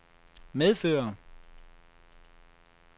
medføre